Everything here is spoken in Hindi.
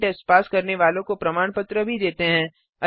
ऑनलाइन टेस्ट पास करने वालों को प्रमाण पत्र भी देते हैं